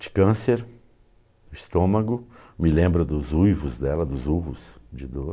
De câncer, estômago, me lembro dos uivos dela, dos urros de dor.